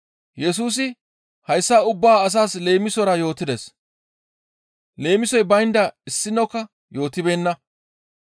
Yesusi hayssa ubba asaas leemisora yootides. Leemisoy baynda issinokka yootibeenna.